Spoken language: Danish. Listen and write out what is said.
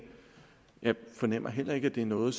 jeg fornemmer heller ikke at det er noget